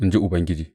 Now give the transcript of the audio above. In ji Ubangiji.